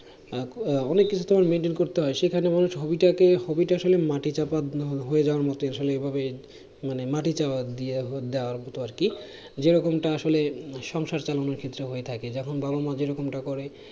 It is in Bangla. আহ অনেক কিছু তোমার maintain করতে হয় সেখানে মানুষ hobby টাকে hobby টা আসলে মাটি চাপা হ~ হয়ে যাওয়ার মতো আসলে এই ভাবে মানে মাটি চাপা দিয়ে দেওয়ার মতো আরকি যেরকমটা আসলে সংসার চালানোর ক্ষেত্রে হয়ে থাকে যখন বাবা মা যেরকমটা করে